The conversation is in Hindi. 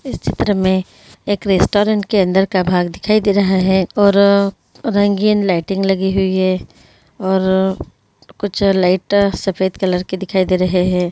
इस चित्र मे एक रेस्टोरेंट के अंदर का भाग दिखाई दे रहा है और अ रंगीन लाइटिंग लगी हुई है। और कुछ लाइट सफेद कलर की दिखाई दे रहे हे।